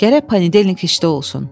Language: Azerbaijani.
Gərək panedelenik işdə olsun.